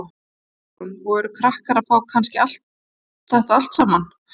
Hugrún: Og eru krakkar að fá kannski allt þetta saman?